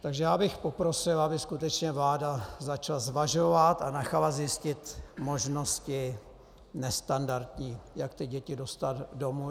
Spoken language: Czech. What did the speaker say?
Takže já bych poprosil, aby skutečně vláda začala zvažovat a nechala zjistit možnosti nestandardní, jak ty děti dostat domů.